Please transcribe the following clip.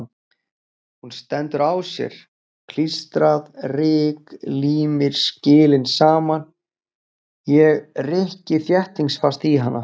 Hún stendur á sér, klístrað ryk límir skilin saman, ég rykki þéttingsfast í hana.